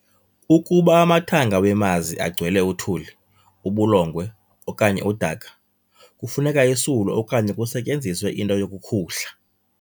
Ukuba amathanga wemazi agcwele uthuli, ubulongwe okanye udaka, kufuneka isulwe okanye kusetyenzizwe into yokukhuhla.